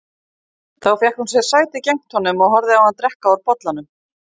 Þá fékk hún sér sæti gegnt honum og horfði á hann drekka úr bollanum.